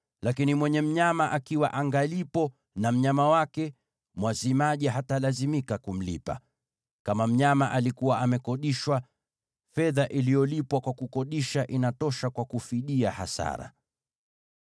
Lakini mwenye mnyama akiwa angalipo na mnyama wake, mwazimaji hatalazimika kumlipa. Kama mnyama alikuwa amekodishwa, fedha iliyolipwa kwa kukodisha inatosha kwa kufidia hasara.